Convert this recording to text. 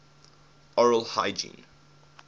oral hygiene